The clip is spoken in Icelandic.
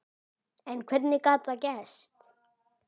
En hvernig gat það gerst?